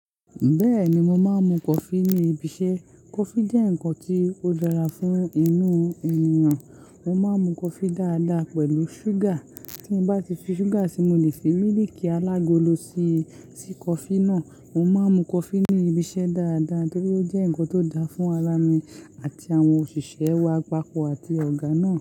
Bẹ́ẹ̀ni, mo máa ń mu coffee níbi iṣẹ́. Coffee jẹ́ nǹkan tí ó dára fún inú ènìyàn. Mo máa ń mu coffee dáadáa pẹ̀lú ṣúgà. Tí n bá ti fi ṣúgà sí, mo lè fi míilìikì alágolo sí, si coffee náà. Mo máa ń mu coffee ní ibi iṣẹ́ dáadáa torí ó jẹ́ nkan tó dáa fún ara mi àti àwọn òṣìṣẹ́, awakọ̀ àti ọ̀gá náà.